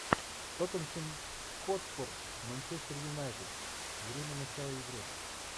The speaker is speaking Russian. тоттенхэм хотспур манчестер юнайтед время начала игры